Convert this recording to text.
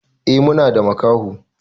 E Muna da makaho.